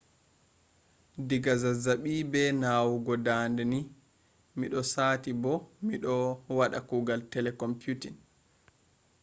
diga zazzabi be nawugo dande ni mido sati bo mido wada kuugal telecomputing